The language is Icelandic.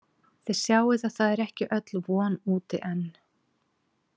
Þið sjáið að það er ekki öll von úti enn.